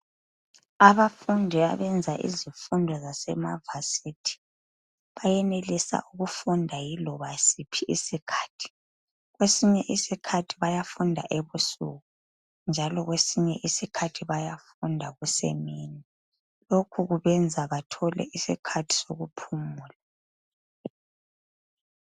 abafundi abenza izifundo zasema varsity bayenelisa ukufunda laloba yisiphi isikhathi kwesinye isikhathi bayafunda ebusuku njalo kwesinye isikhathi bayafunda kusemini lokhu kubenza bathole isikhathi sokuphumula